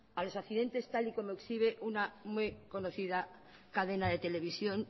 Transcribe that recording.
a los accidentes tal y como exhibe una muy conocida cadena de televisión